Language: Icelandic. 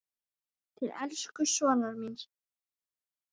Til elsku sonar míns.